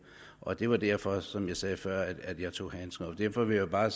og det var derfor som jeg sagde før at jeg tog handsken op derfor vil jeg bare